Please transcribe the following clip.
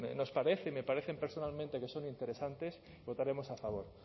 nos parece y me parecen personalmente que son interesantes votaremos a favor